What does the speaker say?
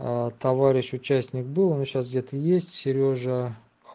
товарищ участник был он сейчас где-то есть серёжа х